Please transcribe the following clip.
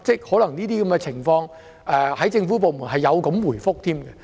可能在一些情況當中，政府部門是這樣回覆的。